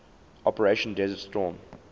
operation desert storm